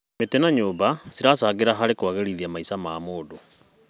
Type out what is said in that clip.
Mĩtĩ na nyũmba ciracangĩra harĩ kwagĩrithia maica ma andũ.